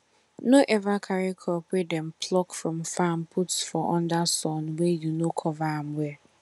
no ever carry crop wey dem pluck from farm put for under sun wey you no cover am well